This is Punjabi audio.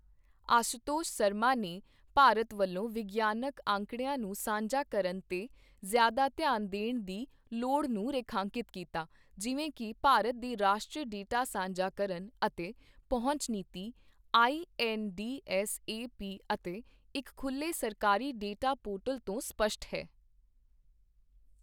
ਆਸ਼ੂਤੋਸ਼ ਸ਼ਰਮਾ ਨੇ ਭਾਰਤ ਵੱਲੋਂ ਵਿਗਿਆਨਕ ਅੰਕੜਿਆਂ ਨੂੰ ਸਾਂਝਾ ਕਰਨ ਤੇ ਜ਼ਿਆਦਾ ਧਿਆਨ ਦੇਣ ਦੀ ਲੋੜ ਨੂੰ ਰੇਖਾਂਕਿਤ ਕੀਤਾ ਜਿਵੇਂ ਕਿ ਭਾਰਤ ਦੇ ਰਾਸ਼ਟਰੀ ਡੇਟਾ ਸਾਂਝਾ ਕਰਨ ਅਤੇ ਪਹੁੰਚ ਨੀਤੀ ਆਈਐੱਨਡੀਐੱਸਏਪੀ ਅਤੇ ਇੱਕ ਖੁੱਲ੍ਹੇ ਸਰਕਾਰੀ ਡੇਟਾ ਪੋਰਟਲ ਤੋਂ ਸਪਸ਼ਟ ਹੈ।